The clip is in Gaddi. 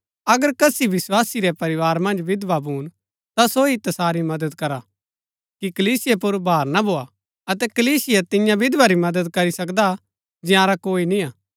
अगर कसी विस्वासी रै परिवार मन्ज विधवा भून ता सो ही तसारी मदद करा कि कलीसिया पुर भार ना भोआ अतै कलीसिया तिन्या विधवा री मदद करी सकदी हा जंयारा कोई निय्आ